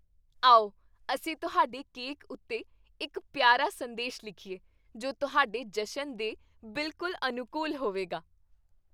ਆਓ ਅਸੀਂ ਤੁਹਾਡੇ ਕੇਕ ਉੱਤੇ ਇੱਕ ਪਿਆਰਾ ਸੰਦੇਸ਼ ਲਿਖੀਏ, ਜੋ ਤੁਹਾਡੇ ਜਸ਼ਨ ਦੇ ਬਿਲਕੁਲ ਅਨੁਕੂਲ ਹੋਵੇਗਾ।